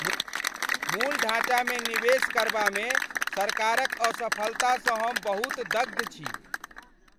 मूल ढाँचामे निवेश करबामे सरकारक असफलतासँ हम बहुत दग्ध छी ।